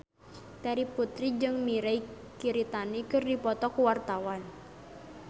Terry Putri jeung Mirei Kiritani keur dipoto ku wartawan